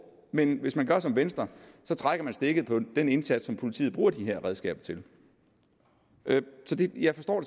men hvis man gør som venstre trækker man stikket for den indsats som politiet bruger de her redskaber til jeg forstår